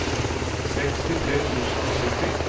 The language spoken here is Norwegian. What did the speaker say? sekstitre tusen og sytti